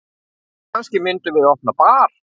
Kannski myndum við opna bar.